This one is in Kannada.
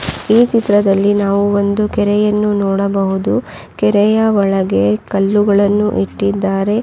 ಈ ಚಿತ್ರದಲ್ಲಿ ನಾವು ಒಂದು ಕೆರೆಯನ್ನು ನೋಡಬಹುದು ಕೆರೆಯ ಒಳಗೆ ಕಲ್ಲುಗಳನ್ನು ಇಟ್ಟಿದ್ದಾರೆ.